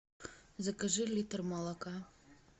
закажи литр молока